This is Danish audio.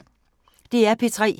DR P3